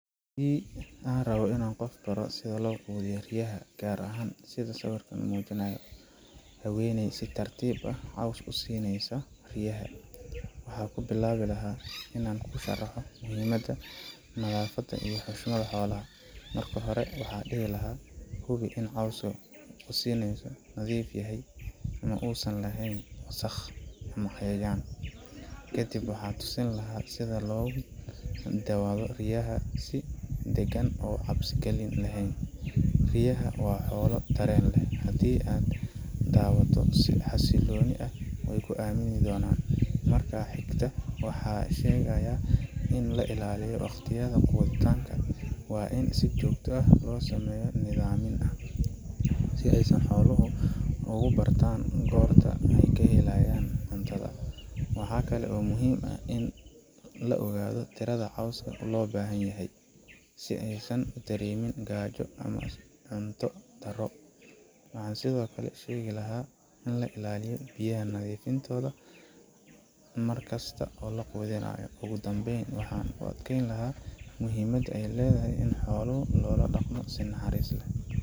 Haddii aan rabo inaan qof baro sida loo quudiyo riyaha, gaar ahaan sida uu sawirkan muujinayo haweeney si tartiib ah caws ugu siinaysa riyaha waxaan ku bilaabi lahaa inaan u sharaxo muhiimada nadaafadda iyo xushmadda xoolaha. Marka hore, waxaan dhihi lahaa, hubi in cawska aad siinayso uu nadiif yahay oo uusan lahayn wasakh ama cayayaan. Kadib, waxaan tusi lahaa sida loogu dhawaado riyaha si degan oo aan cabsi gelin laheyn. Riyaha waa xoolo dareen leh; haddii aad u dhowaato si xasiloon, way ku aamni doonaan. Marka xigta, waxaan u sheegayaa in la ilaaliyo waqtiyada quudinta waa in si joogto ah loogu sameeyaa nidaam, si ay xooluhu u bartaan goorta ay wax helayaan cuntada. Waxa kale oo muhiim ah in la ogaado tirada cawska loo baahan yahay, si aysan u dareemin gaajo ama in cunto ay ka haro. Waxaan sidoo kale sheegi lahaa in la ilaaliyo biyaha nadiifka ah mar kasta oo la quudinayo. Ugu dambeyn, waxaan ku adkeyn lahaa muhiimadda ay leedahay in xoolaha loola dhaqmo si naxariis leh.